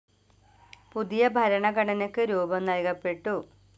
പുതിയ ഭരണഘടനക്ക് രൂപം നല്കപ്പെട്ടു.